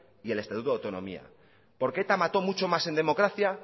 y el estatuto de autonomía porque eta mató mucho más en democracia